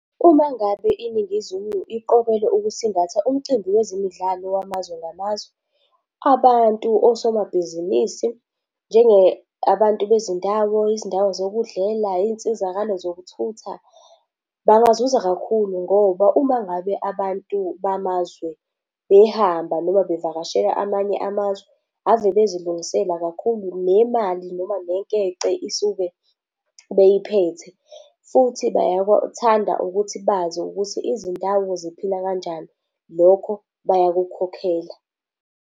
Uma ngabe iNingizimu iqokelwe ukusingatha umcimbi wezimidlalo wamazwe ngamazwe, abantu, osomabhizinisi njengabantu bezindawo, izindawo zokudlela, iy'nsizakalo zokuthutha, bangazuza kakhulu ngoba uma ngabe abantu bamazwe behamba noma bevakashela amanye amazwe, ave bezilungisela kakhulu. Nemali noma nenkece isuke beyiphethe futhi bayakuthanda ukuthi bazi ukuthi izindawo ziphila kanjani. Lokho bayakukhokhela.